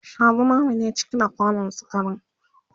Sha zumame ne cike da kwanan sukarin